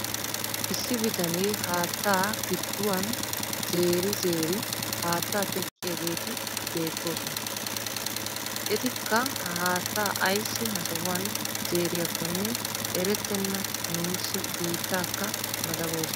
Issi bitanee haattaa gidduwaan zeeri zeeri haattaa teqqiyaageti beettoosona. etikka ha haattaa ayssi ha sohuwaan zeeriyaakonne erettena nuusi. biittaakka madaboosona.